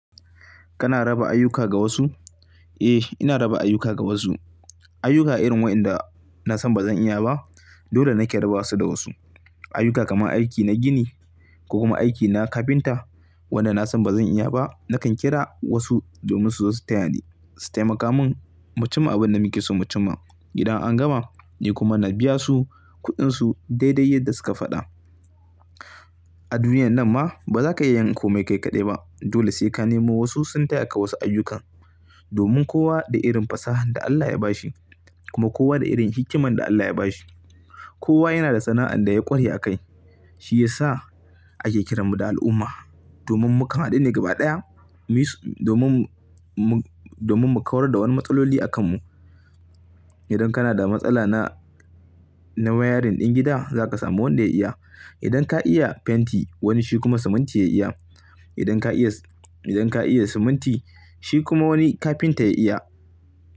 Kana raba ayyuka ga wasu? Eh, ina raba ayyuka ga wasu. Ayyuka irin waɗanda na san ba zan iya ba, dole nake raba su da wasu. Ayyuka kamar aiki na gini, ko kuma aiki na kafinta, waɗanda na san ba zan iya ba, nakan kira wasu domin su zo su taya ni su taimaka min. Mu cimma abinda muke so mucimma. Idan an gama, ni kuma na biya su kuɗinsu daidai yadda suka faɗa. A duniyar nan ma, bazaka iya yin komai kai kaɗai ba. Dole sai ka nemo wasu sun taya ka wasu ayyukan, domin kowa da irin fasahar da Allah ya bashi, kuma kowa da irin hikimar da Allah ya bashi. Kowa yana da sana'ar da ya ƙware a kai, shi yasa ake kiran mu da al'umma, domin mu kan hadu ne gaba ɗaya, domin domin mu kawar da wani matsaloli a kan mu. Idan kana da matsala na, na wayarin din gida, zaka samu wanda ya iya. Idan ka iya fenti, wani shi kuma siminti ya iya. Idan ka iya siminti, shi kuma wani kafinta ya iya.